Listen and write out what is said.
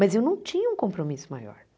Mas eu não tinha um compromisso maior.